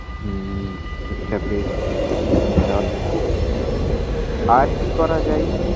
হুম ঠিক আছে ঠিক আছে তাহলে আর কি করা যায়